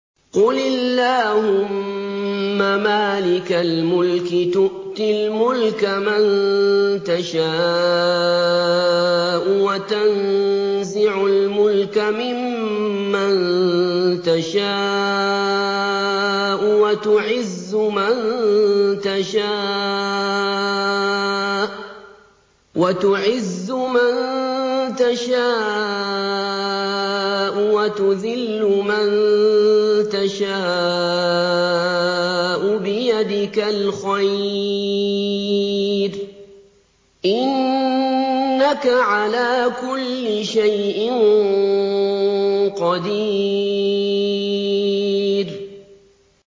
قُلِ اللَّهُمَّ مَالِكَ الْمُلْكِ تُؤْتِي الْمُلْكَ مَن تَشَاءُ وَتَنزِعُ الْمُلْكَ مِمَّن تَشَاءُ وَتُعِزُّ مَن تَشَاءُ وَتُذِلُّ مَن تَشَاءُ ۖ بِيَدِكَ الْخَيْرُ ۖ إِنَّكَ عَلَىٰ كُلِّ شَيْءٍ قَدِيرٌ